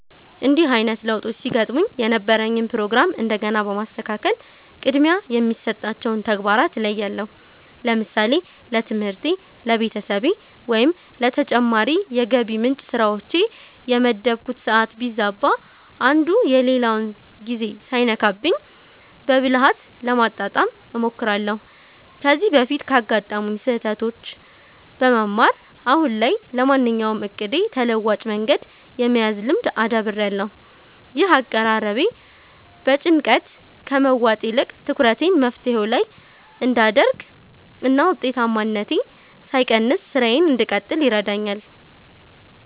እንዲህ አይነት ለውጦች ሲገጥሙኝ የነበረኝን ፕሮግራም እንደገና በማስተካከል ቅድሚያ የሚሰጣቸውን ተግባራት እለያለሁ። ለምሳሌ ለትምህርቴ፣ ለቤተሰቤ ወይም ለተጨማሪ የገቢ ምንጭ ስራዎቼ የመደብኩት ሰዓት ቢዛባ፣ አንዱ የሌላውን ጊዜ ሳይነካብኝ በብልሃት ለማጣጣም እሞክራለሁ። ከዚህ በፊት ካጋጠሙኝ ስህተቶች በመማር፣ አሁን ላይ ለማንኛውም እቅዴ ተለዋጭ መንገድ የመያዝ ልምድ አዳብሬያለሁ። ይህ አቀራረቤ በጭንቀት ከመዋጥ ይልቅ ትኩረቴን መፍትሄው ላይ እንድ አደርግ እና ውጤታማነቴ ሳይቀንስ ስራዬን እንድቀጥል ይረዳኛል።